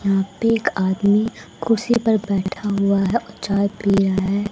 यहां पे एक आदमी कुर्सी पर बैठा हुआ है और चाय पी रहा है।